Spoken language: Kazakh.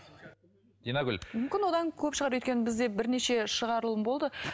динагүл мүмкін одан көп шығар өйткені бізде бірнеше шығарылым болды